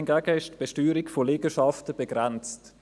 Hingegen ist die Besteuerung von Liegenschaften begrenzt.